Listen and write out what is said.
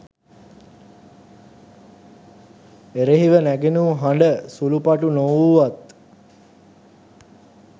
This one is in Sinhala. එරෙහිව නැගුණු හඬ සුළුපටු නොවූවත්